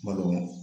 Ma nɔgɔ